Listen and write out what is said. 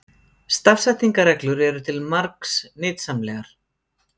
Stafsetningarreglur eru til margs nytsamlegar.